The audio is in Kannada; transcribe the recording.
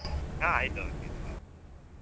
ಹಾ ಆಯ್ತು okay ಹ್ಮ್.